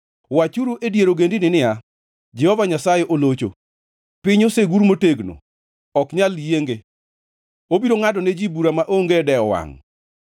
Wachuru e dier ogendini niya, “Jehova Nyasaye olocho.” Piny osegur motegno, ok nyal yienge; obiro ngʼado ne ji bura maonge dewo wangʼ.